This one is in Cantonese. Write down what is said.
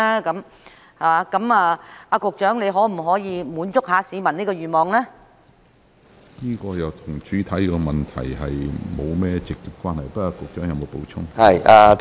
局長，你可否滿足市民這個願望呢？